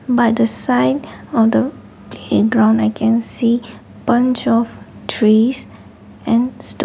by the side of the playground i can see bunch of trees and stone.